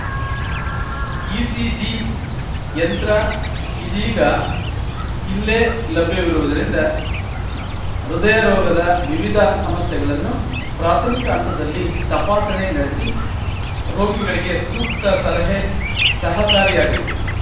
ECG ಯಂತ್ರ ಇದೀಗ ಇಲ್ಲೇ ಲಭ್ಯವಿರುವುದರಿಂದ ಹೃದಯರೋಗದ ವಿವಿಧ ಸಮಸ್ಯೆಗಳನ್ನು ಪ್ರಾಥಮಿಕ ಹಂತದಲ್ಲಿ ತಪಾಸಣೆ ನಡೆಸಿ ರೋಗಿಗಳಿಗೆ ಸೂಕ್ತ ಸಲಹೆ ಸಹಕಾರಿಯಾಗಲಿದೆ